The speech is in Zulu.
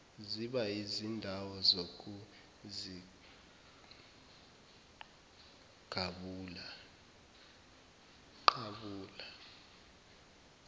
ziba yizindawo zokuziqabula